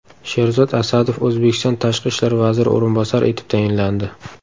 Sherzod Asadov O‘zbekiston tashqi ishlar vaziri o‘rinbosari etib tayinlandi.